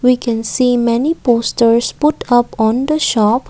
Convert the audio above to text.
we can see many posters put up on the shop.